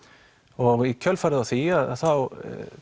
og í kjölfarið á því þá